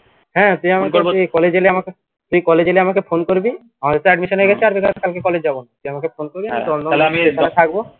হ্যা তুই আমাকে তুই college এলে amake তুই college এলে আমাকে phone করবি আমাদের তো admission হয়ে গেছে আর কালকে college যাবোনা তুই আমাকে phone করবি আমি দমদম station এ থাকবো